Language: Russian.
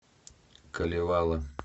калевала